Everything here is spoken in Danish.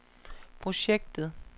projektet